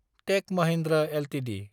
tech Mahindra Ltd